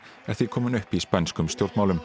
er því komin upp í spænskum stjórnmálum